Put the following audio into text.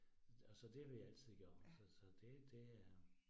Og så det har vi altid gjort så så det det er